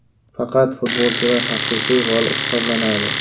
Faqat futbolchilar haqiqiy g‘olib hisoblanadi”.